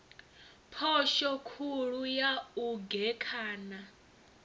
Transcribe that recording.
phosho khulu ya u gekhana